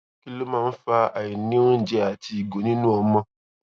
kí ló máa ń fa àìní oúnjẹ àti ìgò nínú ọmọ